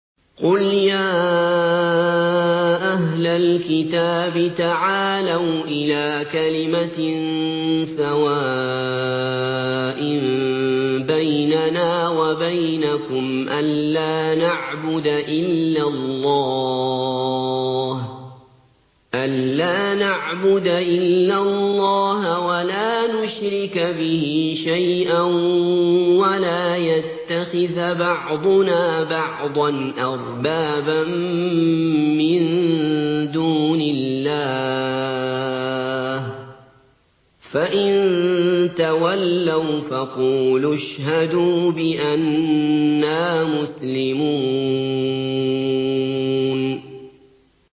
قُلْ يَا أَهْلَ الْكِتَابِ تَعَالَوْا إِلَىٰ كَلِمَةٍ سَوَاءٍ بَيْنَنَا وَبَيْنَكُمْ أَلَّا نَعْبُدَ إِلَّا اللَّهَ وَلَا نُشْرِكَ بِهِ شَيْئًا وَلَا يَتَّخِذَ بَعْضُنَا بَعْضًا أَرْبَابًا مِّن دُونِ اللَّهِ ۚ فَإِن تَوَلَّوْا فَقُولُوا اشْهَدُوا بِأَنَّا مُسْلِمُونَ